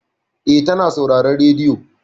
Eh, ta na sauraren rediyo.